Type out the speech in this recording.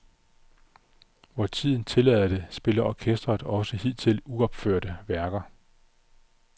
Hvor tiden tillader det, spiller orkestret også hidtil uopførte værker.